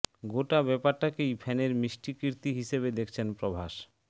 গোটা ব্যাপারটাকেই ফ্যানের মিষ্টি কীর্তি হিসেবে দেখছেন প্রভাস